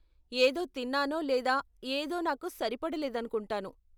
ఏదో తిన్నానో లేదా ఏదో నాకు సరిపడలేదనుకుంటాను .